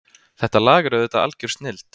Þetta lag er auðvitað algjör snilld